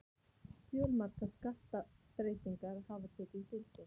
Fjölmargar skattabreytingar hafa tekið gildi